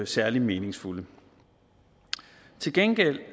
særlig meningsfulde til gengæld